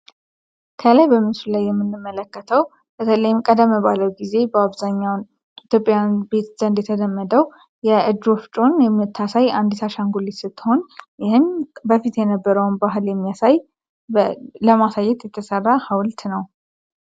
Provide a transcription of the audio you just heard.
ከላይ በምስሉ ላይ የምንመለከተው በተለይ ቀደም ባለው ጊዜ በኢትዮጵያውያን ዘንድ የተለመደው የእጅ ወፍጮውን የምታሳይ የአንድ አሻንጉሊት ስትሆን በፊት የነበረውን ለማሳየት የተሰራ ሀውልት ነው።